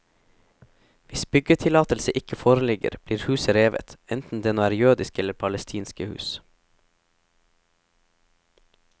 Hvis byggetillatelse ikke foreligger, blir huset revet, enten det nå er jødiske eller palestinske hus.